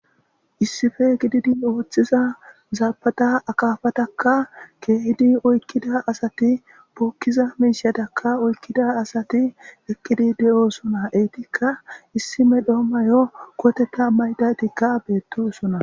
issife gididi ooththiza zaabada akaafatakka keehidi oykkida asati puukkiza miishadakka oykkida asati ekkidi de7osona eetikka issi me dhoomo mayo koteta maydaytikka beettisona